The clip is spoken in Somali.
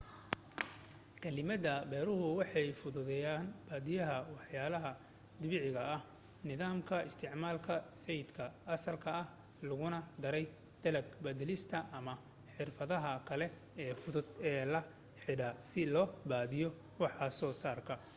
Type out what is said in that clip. kaalmada beerahu way fududahay badiyaa waxyaalaha dabiiciga ah nidaamka isticmaalka siidhka asalka ah laguna daray dalag badalista ama xirfadaha kale ee fudud ee la xidhiidha si loo badiyo waxsoo saarka